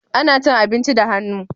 Ana cin abinci da hannu